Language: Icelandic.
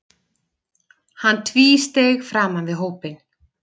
Hann tvísteig framan við hópinn.